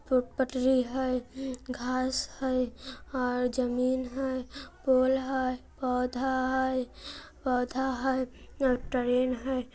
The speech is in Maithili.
एक पटरी है घास है और जमीन है पोल है पौधा है पौधा है एक ट्रेन है।